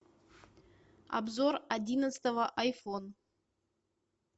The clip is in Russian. обзор одиннадцатого айфон